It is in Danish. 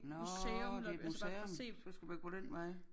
Nårh det et museum så skal man gå den vej